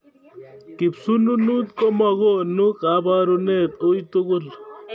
Kisununut komakuno kaparunet uitugul